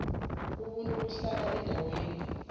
umuntu uhlala endaweni